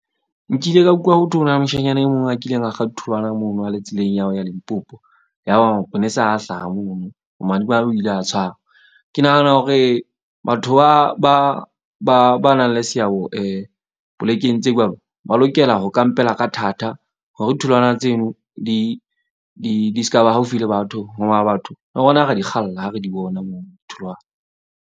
Nkile ka utlwa, ho thwe ho na le moshanyana e mong a kileng a kga tholwana mono a le tseleng ya ho ya Limpopo. Ya ba maponesa a hlaha mono bomadimabe, o ile a tshwarwa. Ke nahana hore batho ba nang le seabo polekeng tseo jwalo. Ba lokela ho kampela ka thata hore tholwana tseno di ska ba haufi le batho. Hoba batho le rona ra di kgalla ha re di bona moo ditholwana.